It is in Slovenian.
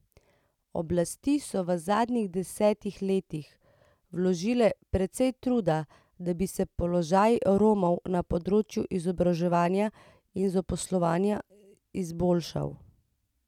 Oblasti so v zadnjih desetih letih vložile precej truda, da bi se položaj Romov na področju izobraževanja in zaposlovanja izboljšal.